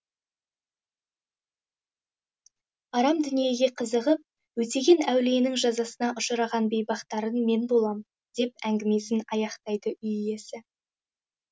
арам дүниеге қызығып өтеген әулиенің жазасына ұшыраған бейбақтарың мен болам деп әңгімесін аяқтайды үй иесі